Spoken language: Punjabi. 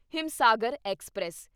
ਹਿਮਸਾਗਰ ਐਕਸਪ੍ਰੈਸ